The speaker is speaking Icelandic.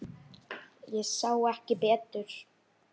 Ég sá ekki betur.